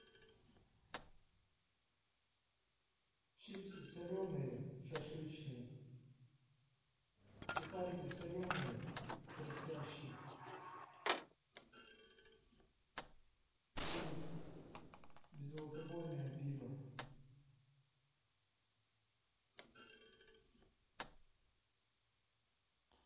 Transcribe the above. чипсы соленые шашлычные сухарики соленые хрустящие и безалкогольное пиво